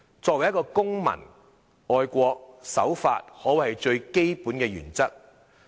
作為一個公民，愛國、守法可謂是最基本的原則。